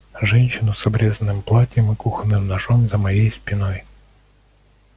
женщину с обрезанным платьем и кухонным ножом за моей спиной